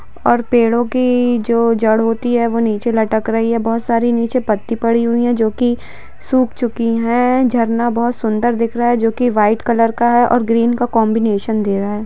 और पेड़ों की जो जड़ होती है वो नीचे लटक रही है बोहोत सारी नीचे पत्ती पड़ी हुई है जो की सुख चुकी है झरना बोहोत सुन्दर दिख रहा है जो की व्हाइट कलर का है और ग्रीन का काम्बनैशन दे रहा है।